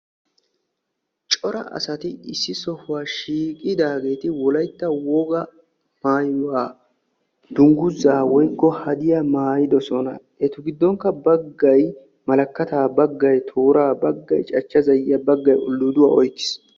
Cora asati issi sohuwa shiiqidaageeri wolaytta woga maayyuwa dungguza woykko haddiyaa maaytidoosona. Eta giddonkka baggay malkkata, baggau toora, baggay cachcha zayyiya, baggay uldduduwa oyqqiis.